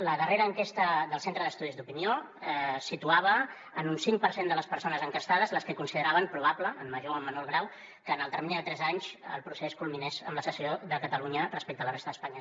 la darrera enquesta del centre d’estudis d’opinió situava en un cinc per cent de les persones enquestades les que consideraven probable en major o menor grau que en el termini de tres anys el procés culminés amb la secessió de catalunya respecte a la resta d’espanya